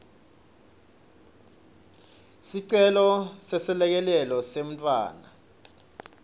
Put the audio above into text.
sicelo seselekelelo semntfwana